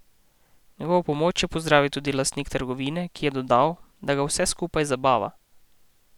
Njegovo pomoč je pozdravil tudi lastnik trgovine, ki je dodal, da ga vse skupaj zabava.